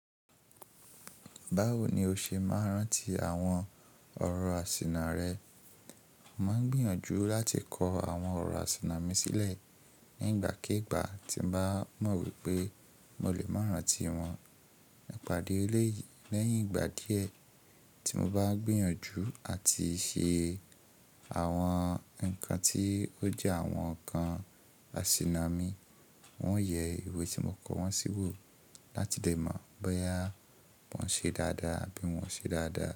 Báwo ni o ṣe máa ń rántí àwọn ọ̀rọ̀ àsìnà rẹ? Mo ń gbìyànjú láti kọ àwọn ọ̀rọ̀ àsìnà mi sílẹ̀ nígbàkígbà tí mo bá mọ̀ wípé mo lè máa rántí wọn. Ẹ pàdé léyìn, lẹ́yìn ìgbà díẹ̀ tí mo bá gbìyànjú àti ṣe àwọn nǹkan tí ó jẹ́ àwọn nǹkan àsìnà mi, wọn yẹ ìwé tí mo kọ wọ́n sí wò láti lè mọ̀ bóyá wọn ṣe dáadáa àbí wọn ṣe dáadáa.